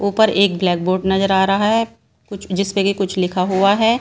ऊपर एक black board नजर आ रहा है कुछ जिसपे कि कुछ लिखा हुआ है।